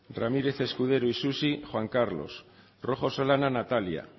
ramírez escudero isusi juan carlos rojo solana natalia